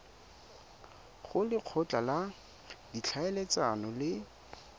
go lekgotla la ditlhaeletsano le